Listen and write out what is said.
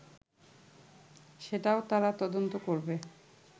সেটাও তারা তদন্ত করবে